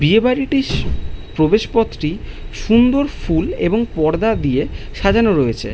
''বিয়েবাড়িটির প্রবেশপথটি সুন্দর ফুল এবং পর্দা দিয়ে''''সাজানো রয়েছে।''